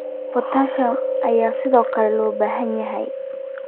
Potassium ayaa sidoo kale loo baahan yahay.